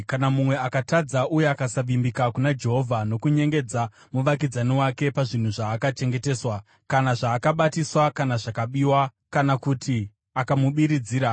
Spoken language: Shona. “Kana mumwe akatadza uye akasavimbika kuna Jehovha nokunyengedza muvakidzani wake pazvinhu zvaakachengeteswa, kana zvaakabatiswa kana zvakabiwa, kana kuti akamubiridzira,